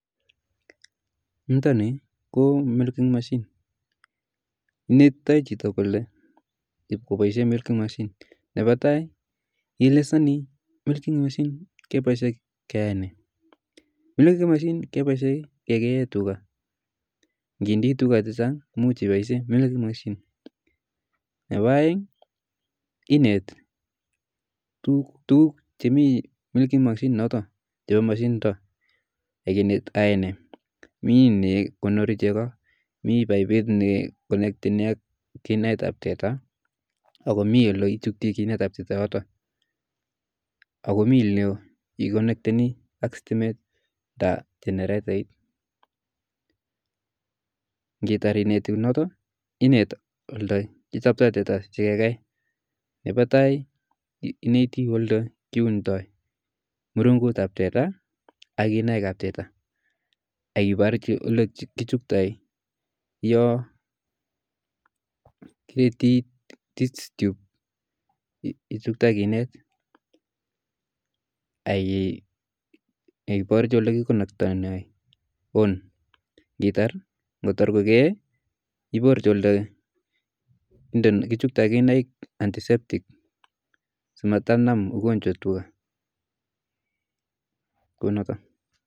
niton ni ko milking machine, inete chito kobaishen chito kole koboishien milkind machine, nepo tai ielezoni milking machine cheboishen keeyaenei, milking machine kebeishen kegeen tuga, initinye tuga chechang imuch iboishen milking machine, nepo inet tuguk chemi milking machine initon chebo machine initon ak inet koyoe nee, mi ne konori chego, mi baibit neconnecteni ak kinet ab teta, ako komi olechuten kinet ab teta en yoton, ak komi oleiconnecteni ak stimet ak generetait, initar ineti yoton inet olekichompto teta sigegei, nepo tai ineti olekiundo murungut ab teta ak kinaik ab teta, ak iboryi ole kichuptoi yo kichuktoi kinet, ab iborji olekiconnectondoi on ,ng'otak kogee iborji olekichomtoi kinaik anticeptic simatanam ugonjwa tuga, kuonoton.